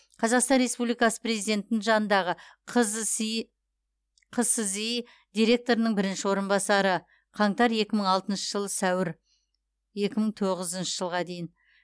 қазақстан республикасы президентінің жанындағы қзси қсзи директорының бірінші орынбасары қаңтар екі мың алтыншы жылы сәуір екі мың тоғызыншы жылға дейін